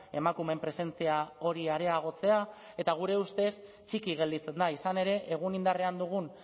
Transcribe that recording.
emakumeen presentzia hori areagotzea eta gure ustez txiki gelditzen da izan ere egun indarrean dugun